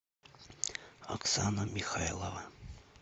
оксана михайлова